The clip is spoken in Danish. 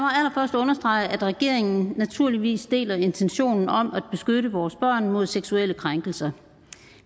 understrege at regeringen naturligvis deler intentionen om at beskytte vores børn mod seksuelle krænkelser